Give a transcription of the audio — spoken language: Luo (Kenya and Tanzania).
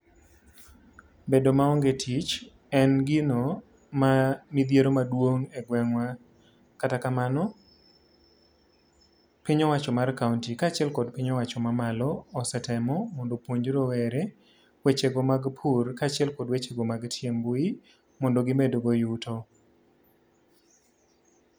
Bedo maonge tich en gino ma midhiero maduong' egweng'wa kata kamano piny owacho mar kaonti kaachiel kod piny owacho mamalo osetemo mondo opuonj rowere wechego mag pur kaachiel kod wechego mantie e mbui mondo gimedgo yuto.